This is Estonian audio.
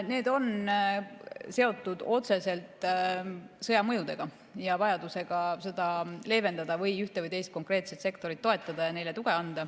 Need on seotud otseselt sõja mõjuga ja vajadusega seda leevendada või ühte või teist konkreetset sektorit toetada.